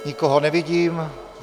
Nikoho nevidím.